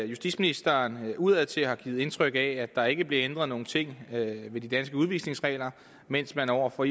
justitsministeren udadtil har givet indtryk af at der ikke blev ændret nogen ting ved de danske udvisningsregler mens man over for